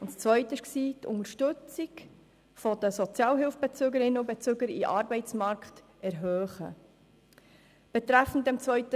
Ziel Nummer 2 war, die Unterstützung der Sozialhilfebezügerinnen und Sozialhilfebezüger bei der Integration in den Arbeitsmarkt zu erhöhen.